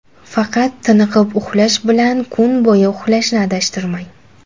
Faqat tiniqib uxlash bilan kun bo‘yi uxlashni adashtirmang.